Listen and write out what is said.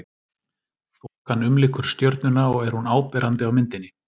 Þokan umlykur stjörnuna og er hún áberandi á myndinni.